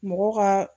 Mɔgɔ ka